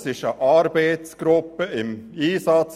Es befindet sich eine Arbeitsgruppe im Einsatz.